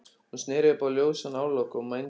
Hún sneri upp á ljósan hárlokk og mændi á hann.